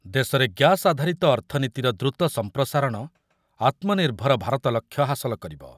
ଦେଶରେ ଗ୍ୟାସ ଆଧାରିତ ଅର୍ଥନୀତିର ଦ୍ରୁତ ସମ୍ପ୍ରସାରଣ ଆତ୍ମନିର୍ଭର ଭାରତ ଲକ୍ଷ୍ୟ ହାସଲ କରିବ ।